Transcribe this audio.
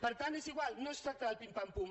per tant és igual no es tracta del pim pam pum